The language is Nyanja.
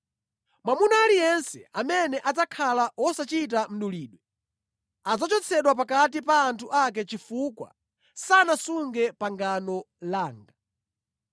Mwamuna aliyense amene adzakhala wosachita mdulidwe adzachotsedwa pakati pa anthu ake chifukwa sanasunge pangano langa.”